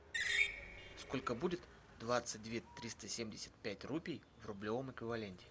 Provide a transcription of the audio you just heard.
сколько будет двадцать две триста семьдесят пять рупий в рублевом эквиваленте